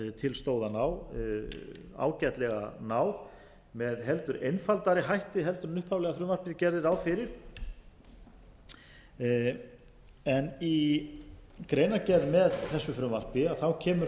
stóð að ná ágætlega náð með heldur einfaldari hætti heldur en upphaflega frumvarpið gerði ráð fyrir í greinargerð með þessu frumvarpi kemur